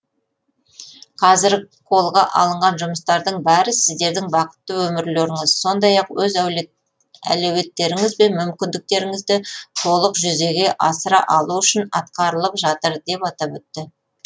қазір қолға алынған жұмыстардың бәрі сіздердің бақытты өмірлеріңіз сондай ақ өз әлеуеттеріңіз бен мүмкіндіктеріңізді толық жүзеге асыра алу үшін атқарылып жатыр деп атап өтті